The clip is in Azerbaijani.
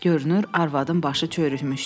Görünür arvadın başı çörükmüşdü.